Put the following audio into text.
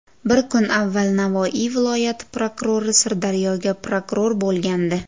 Bir kun avval Navoiy viloyati prokurori Sirdaryoga prokuror bo‘lgandi.